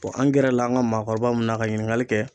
an gɛrɛ la an ka maakɔrɔba mun na ka ɲininkali kɛ